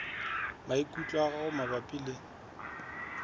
maikutlo a gago mabapi le